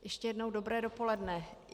Ještě jednou dobré dopoledne.